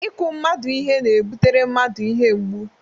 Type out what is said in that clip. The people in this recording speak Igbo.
Ịkụ mmadụ ihe na-ebutere mmadụ ihe mgbu.